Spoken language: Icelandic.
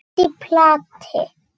Allt í plati!